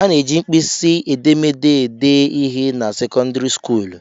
A na-eji mkpịsị edemede ede ihe na sekọndịrị skuulu